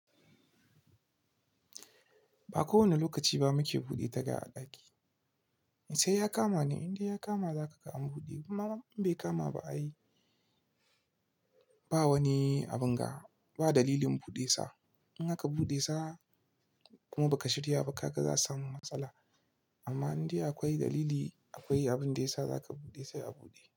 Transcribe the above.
Ba kowane lokaci ba muke buɗe taga a ɗaki. Sai ya kama ne, in dai ya kama zaka ka am buɗe. In bai kama ba ai, ba wani abun ga, ba dalilin buɗe sa. In aka buɗe sa kuma ba ka shirya ba kaga za samu matsala. Amma in dai akwai dalili, akwai abin da ya sa zaka buɗe sai a buɗe.